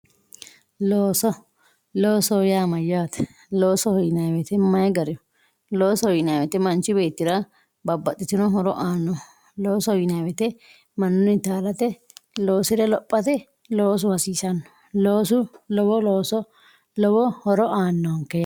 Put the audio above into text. Looso loosoho yaa mayate loosoho yinayi wote mayi gariho loosoho yinayi woyite manchi beetira babaxitino horo aano loosoho yinayiwoyite manuni yaalate losire lophate loosu hasisano loosu lowo looso lowo horo aanonke.